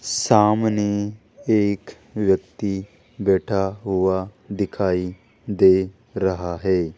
सामने एक व्यक्ति बैठा हुआ दिखाई दे रहा है।